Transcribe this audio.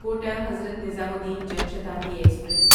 quota Hazrat Nizamuddin Jan Shatabdi express